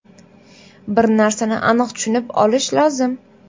Bir narsani aniq tushunib olish lozim.